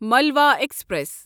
Malwa express